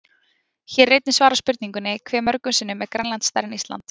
Hér er einnig svarað spurningunni: Hve mörgum sinnum er Grænland stærra en Ísland?